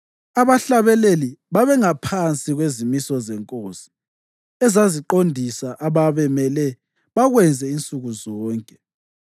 Abahlabeleli babengaphansi kwezimiso zenkosi, ezaziqondisa ababemele bakwenze insuku zonke.